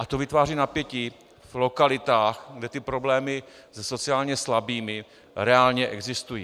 A to vytváří napětí v lokalitách, kde ty problémy se sociálně slabými reálně existují.